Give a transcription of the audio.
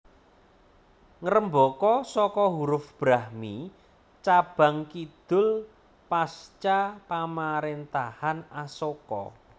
Ngrembaka saka huruf Brahmi cabang kidul pasca pamaréntahan Asoka